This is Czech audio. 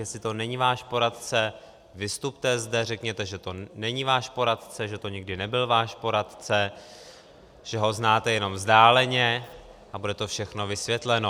Jestli to není váš poradce, vystupte zde, řekněte, že to není váš poradce, že to nikdy nebyl váš poradce, že ho znáte jenom vzdáleně, a bude to všechno vysvětleno.